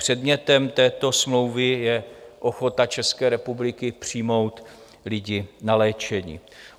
Předmětem této smlouvy je ochota České republiky přijmout lidi na léčení.